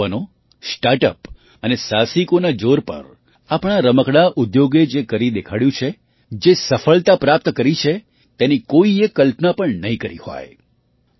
આપણા યુવાનો start up અને સાહસિકોના જોર પર આપણા રમકડા ઉદ્યોગે જે કરી દેખાડ્યું છે જે સફળતા પ્રાપ્ત કરી છે તેની કોઈએ કલ્પના પણ નહીં કરી હોય